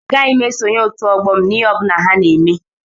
Agaghị m esonyere Otu ọgbọ m n'ihe ọ bụla ha na-eme